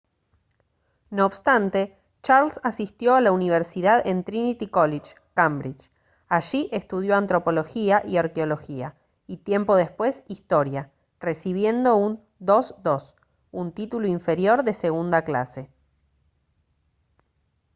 no obstante charles asistió a la universidad en trinity college cambridge. allí estudió antropología y arqueología y tiempo después historia recibiendo un 2:2 un título inferior de segunda clase